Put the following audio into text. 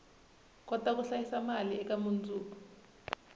kota ku hlayisa mali eka mundzuku